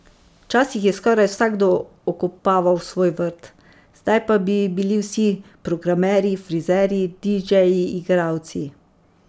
Včasih je skoraj vsakdo okopaval svoj vrt, zdaj pa bi bili vsi programerji, frizerji, didžeji, igralci.